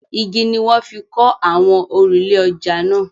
Igi ni wọ́n fi kọ́ àwọn òrùlé ọjà náà.